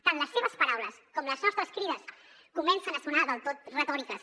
tant les seves paraules com les nostres crides comencen a sonar del tot retòriques